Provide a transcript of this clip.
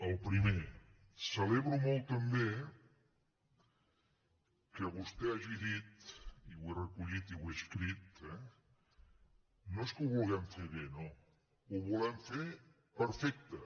el primer celebro molt també que vostè hagi dit i ho he recollit i ho he escrit eh no és que ho vulguem fer bé no ho volem fer perfecte